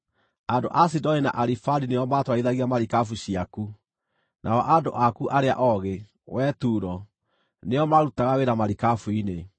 Andũ a Sidoni na Arivadi nĩo maatwarithagia marikabu ciaku; nao andũ aku arĩa oogĩ, wee Turo, nĩo maarutaga wĩra marikabu-inĩ.